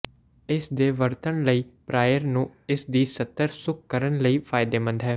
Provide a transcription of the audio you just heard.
ਇਸ ਦੇ ਵਰਤਣ ਲਈ ਪ੍ਰਾਇਰ ਨੂੰ ਇਸ ਦੀ ਸਤਹ ਸੁੱਕ ਕਰਨ ਲਈ ਫਾਇਦੇਮੰਦ ਹੈ